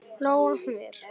Lóa: Hvar?